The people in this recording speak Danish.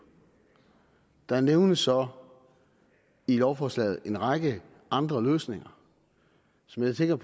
der nævnes så i lovforslaget en række andre løsninger som jeg tænker